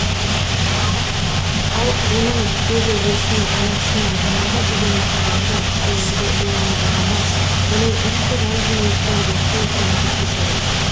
ал оның өз әжесіне анасына жанарға деген махаббаты оларды уайымдағаны оның ішкі жандүниесінің жақсы екенін көрсетеді